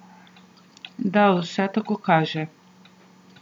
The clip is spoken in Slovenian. Da, vse tako kaže.